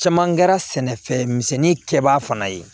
Caman kɛra sɛnɛfɛn misɛnnin kɛbaa fana ye